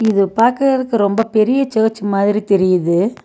இத பாக்கறக்கு ரொம்ப பெரிய சர்ச் மாதிரி தெரியிது.